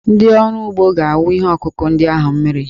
Ndị ọrụ ugbo ga-awụ ihe ọkụkụ ndị ahụ mmiri.